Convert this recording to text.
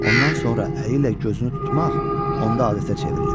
Ondan sonra əli ilə gözünü tutmaq onda adətə çevrilib.